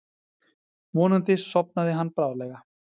Vonandi sofnaði hann bráðlega.